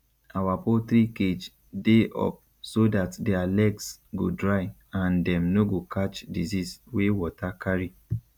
our poultry cage dey up so dat their legs go dry and dem no go catch disease wey water carry